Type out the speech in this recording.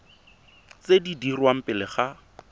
tse di dirwang pele ga